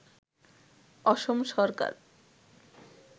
অসম সরকার